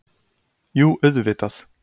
Jú auðvitað.